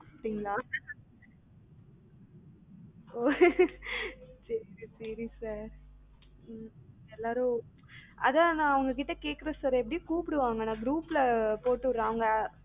அப்டீங்களா ஓ சேரி sir ம் எல்லாரும் அதான் நா உங்ககிட்ட கேக்கணும் sir எப்படி கூப்புடுவாங்க, நா group ல போட்டு விடுறன் அவங்க